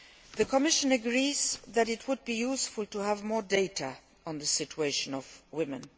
The Commission agrees that it would be useful to have more data on the situation of women.